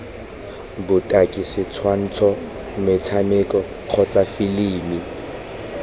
botaki setshwantsho motshameko kgotsa filimi